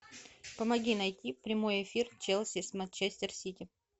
помоги найти прямой эфир челси с манчестер сити